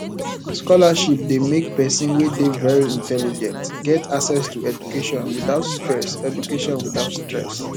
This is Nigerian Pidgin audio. scholarship de make persin wey de very intelligent get access to education without stress education without stress